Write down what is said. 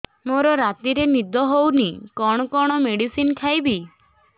ମୋର ରାତିରେ ନିଦ ହଉନି କଣ କଣ ମେଡିସିନ ଖାଇବି